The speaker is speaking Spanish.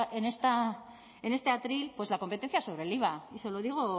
en este atril pues la competencia sobre el iva y se lo digo